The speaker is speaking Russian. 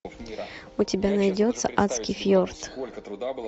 у тебя найдется адский фьорд